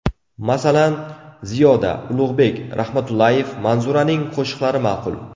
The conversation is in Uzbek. Masalan, Ziyoda, Ulug‘bek Rahmatullayev, Manzuraning qo‘shiqlari ma’qul.